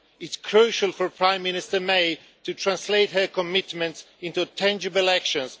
It is crucial for Prime Minister May to translate her commitments into tangible actions.